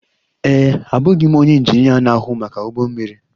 Ee e, abụghị m onye injinia na-ahụ maka ụgbọ mmiri.